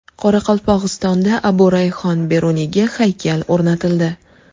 Qoraqalpog‘istonda Abu Rayhon Beruniyga haykal o‘rnatildi.